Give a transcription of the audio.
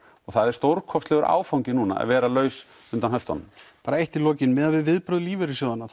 og það er stórkostlegur áfangi núna að vera laus undan höftunum bara eitt í lokin miðað við viðbrögð lífeyrissjóðanna